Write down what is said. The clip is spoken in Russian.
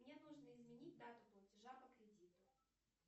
мне нужно изменить дату платежа по кредиту